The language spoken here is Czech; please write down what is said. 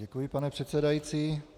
Děkuji, pane předsedající.